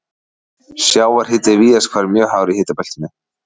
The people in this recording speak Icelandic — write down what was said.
Sjávarhiti er víðast hvar mjög hár í hitabeltinu.